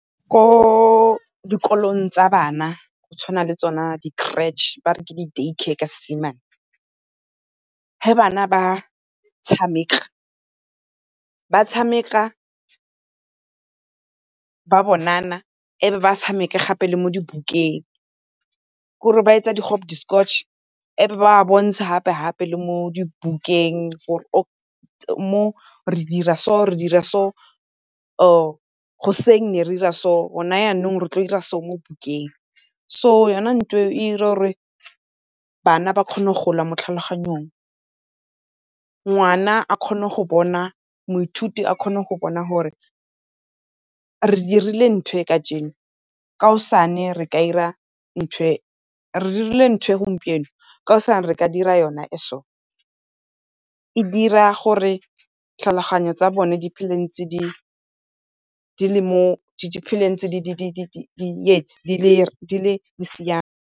Ko dikolong tsa bana go tshwana le tsona di-creche ba re ke di-day care ka Seesemane. Ge bana ba tshameka, ba tshameka ba bonana e be ba tshameke gape le mo dibukeng. Kore ba e tsa di e be ba bontshe gape-gape le mo dibukeng mo re dira so re dira so, or goseng ne re dira so, go na yanong re tlo dira so mo bukeng. So yona nthwe e dira gore bana ba kgone go gola mo tlhaloganyong. Ngwana a kgone go bona moithuti a kgone go bona gore re dirile nthwe kajeno, kaosane re ka dira nthwe re dirile nthwe gompieno kaosane re ka dira yona e so. E dira gore tlhaloganyo tsa bone di phele ntse di siame.